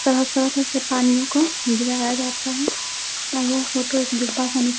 पानीयों को गिराया जाता है। होके डिब्बा सहित।